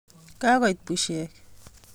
Kakoit bushek